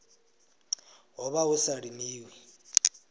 ho vha hu sa limiwi